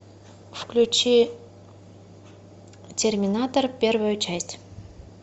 включи терминатор первую часть